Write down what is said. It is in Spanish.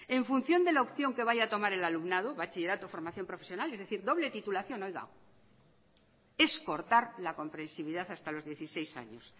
en función de la opción que vaya a tomar el alumnado bachillerato formación profesional es decir doble titulación es cortar la comprensividad hasta los dieciséis años